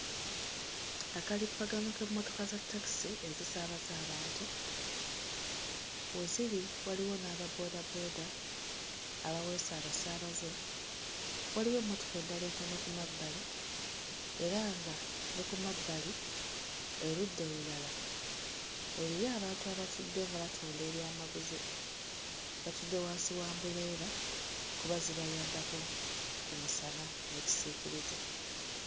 Akalippagano k'emmotoka za takisi ezisaabaza abantu. We ziri waliwo n'ababboodabooda abaweese abasaabaze, waliwo emmotoka endala entono ku mabbali era nga ne ku mabbali erudda olulala eriyo abantu abatudde nga batunda ebyamaguzi; batudde wansi wa ambuleera kuba zibayambako ku musana n'ekisiikirize.